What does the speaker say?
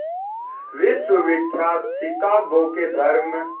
विश्वविख्यात शिकागो के धर्म